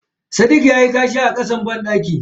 Sadiq yayi kashi a kasan bandaki.